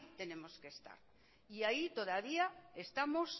tenemos que estar y ahí todavía estamos